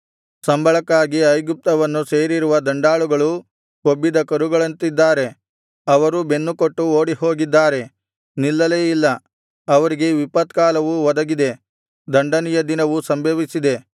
ಸಂಬಳಕ್ಕಾಗಿ ಐಗುಪ್ತವನ್ನು ಸೇರಿರುವ ದಂಡಾಳುಗಳು ಕೊಬ್ಬಿದ ಕರುಗಳಂತಿದ್ದಾರೆ ಅವರೂ ಬೆನ್ನುಕೊಟ್ಟು ಓಡಿಹೋಗಿದ್ದಾರೆ ನಿಲ್ಲಲೇ ಇಲ್ಲ ಅವರಿಗೆ ವಿಪತ್ಕಾಲವು ಒದಗಿದೆ ದಂಡನೆಯ ದಿನವು ಸಂಭವಿಸಿದೆ